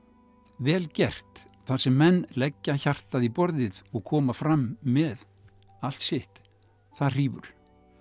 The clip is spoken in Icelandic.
vel gert þar sem menn leggja hjartað í borðið og koma fram með allt sitt það hrífur